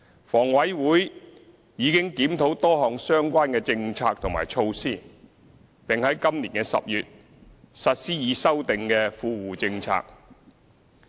房委會已經檢討多項相關政策及措施，並在今年10月實施已修訂的"富戶政策"。